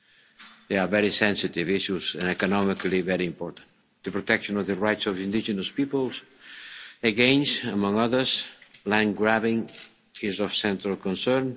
These are very sensitive issues and economically very important. The protection of the rights of indigenous peoples against, among others, land grabbing is of central concern.